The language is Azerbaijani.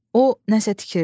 O nə isə tikirdi.